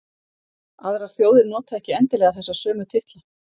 aðrar þjóðir nota ekki endilega þessa sömu titla